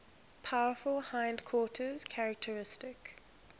powerful hindquarters characteristic